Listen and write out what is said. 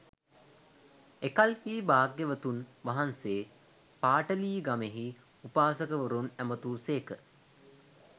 එකල්හී භාග්‍යවතුන් වහන්සේ පාටලීගමෙහි උපාසකවරුන් ඇමතූ සේක